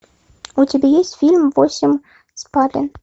у тебя есть фильм восемь спален